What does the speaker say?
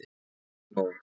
Það er komið nóg.